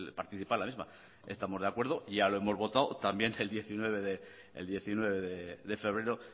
participa la misma estamos de acuerdo ya lo hemos votado también el diecinueve de febrero